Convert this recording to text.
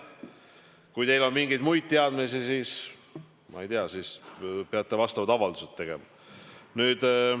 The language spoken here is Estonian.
Kui teil on mingeid muid teadmisi, siis, ma ei tea, te peate vastavad avaldused tegema.